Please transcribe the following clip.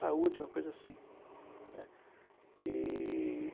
Saúde, uma coisa assim, né. E...